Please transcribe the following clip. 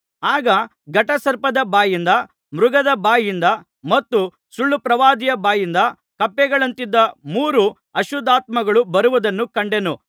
ಆಗ ಘಟಸರ್ಪದ ಬಾಯಿಂದ ಮೃಗದ ಬಾಯಿಂದ ಮತ್ತು ಸುಳ್ಳುಪ್ರವಾದಿಯ ಬಾಯಿಂದ ಕಪ್ಪೆಗಳಂತಿದ್ದ ಮೂರು ಅಶುದ್ಧಾತ್ಮಗಳು ಬರುವುದನ್ನು ಕಂಡೆನು